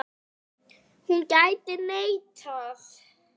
Hún gæti neitað.